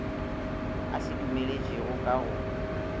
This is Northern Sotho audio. a se dumeletšego ka go